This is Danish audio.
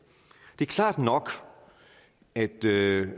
det er klart nok at det